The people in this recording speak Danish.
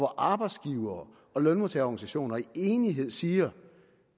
arbejdsgivere og lønmodtagerorganisationer i enighed siger